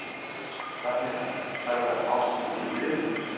рахмет аға тағы да алғысымызды білдіреміз